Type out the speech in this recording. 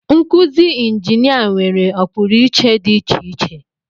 Nkuzi injinia nwere ọpụrụiche dị iche iche